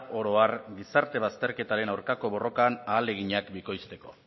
oro har gizarte bazterketaren aurkako borrokan ahaleginak bikoizteko